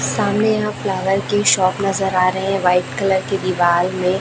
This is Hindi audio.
सामने यहां फ्लावर की शॉप नजर आ रही है वाइट कलर की दीवाल में--